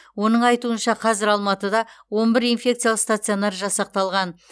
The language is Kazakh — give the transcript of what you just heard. оның айтуынша қазір алматыда он бір инфекциялық стационар жасақталған